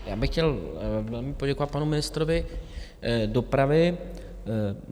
Já bych chtěl velmi poděkovat panu ministrovi dopravy.